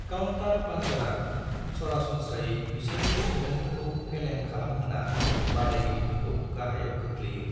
Counter पंचरा सरासनस्रायै बिसोरनि सौनायफोरखौ फेलें खालामहोना बादायगिरिफोरखौ गाहायाव खोख्लैयो।